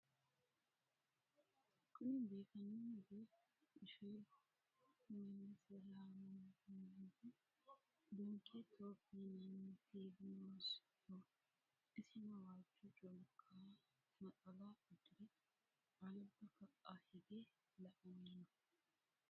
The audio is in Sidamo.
Kunni biifannohu beettu ishettu melese yaamamanohu donkey tube yinanni tv noosiho isinno waajjo culikka naxxala udire alibba ka'a higge la'anni noo